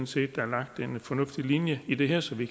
set der er lagt en fornuftig linje i det her så vi